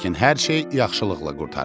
lakin hər şey yaxşılıqla qurtarır.